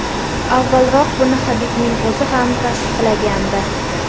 Avvalroq buni Habibning o‘zi ham tasdiqlagandi .